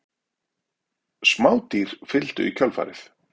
Smádýr fylgdu í kjölfarið.